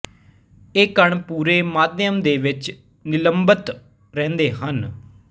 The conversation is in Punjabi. ਇਹ ਕਣ ਪੂਰੇ ਮਾਧਿਅਮ ਦੇ ਵਿੱਚ ਨਿਲੰਬਤ ਰਹਿੰਦੇ ਹਨ